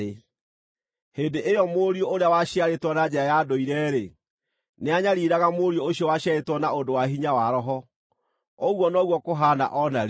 Hĩndĩ ĩyo, mũriũ ũrĩa waciarĩtwo na njĩra ya ndũire-rĩ, nĩanyariiraga mũriũ ũcio waciarĩtwo na ũndũ wa hinya wa Roho. Ũguo noguo kũhaana o na rĩu.